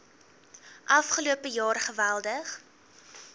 afgelope jaar geweldig